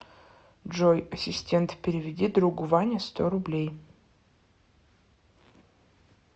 джой ассистент переведи другу ване сто рублей